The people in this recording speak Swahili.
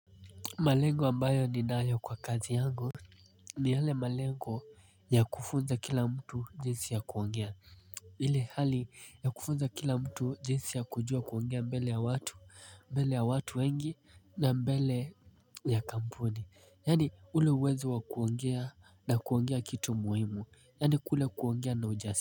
Malengo ambayo ninayo kwa kazi yangu ni yale malengo ya kufunza kila mtu jinsi ya kuongea. Ile hali ya kufunza kila mtu jinsi ya kujua kuongea mbele ya watu, mbele ya watu wengi na mbele ya kampuni. Yaani ule uwezo wa kuongea na kuongea kitu muhimu. Yaani kule kuongea na ujasiri.